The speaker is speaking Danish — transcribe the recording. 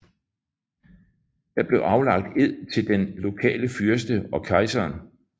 Der blev aflagt ed til den lokale fyrste og kejseren